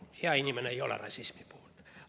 Loomulikult, hea inimene ei ole rassismi poolt.